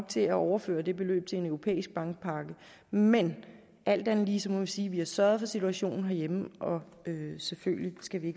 til at overføre det beløb til en europæisk bankpakke men alt andet lige må vi sige at vi har sørget for situationen herhjemme og selvfølgelig skal vi